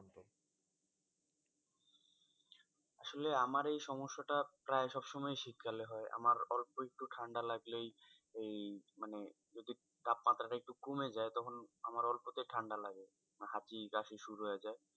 আসলে আমার এই সমস্যাটা প্রায় সবসময়ই শীতকালে হয়। আমার অল্প একটু ঠাণ্ডা লাগলেই ওই মানে ঐ যে তাপমাত্রা টা একটু কমে যায় তখন আমার অল্পতেই ঠাণ্ডা লাগে হাঁচি, কাশি শুরু হয়ে যায়।